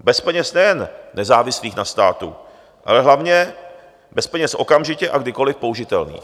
bez peněz nejen nezávislých na státu, ale hlavně bez peněz okamžitě a kdykoli použitelných.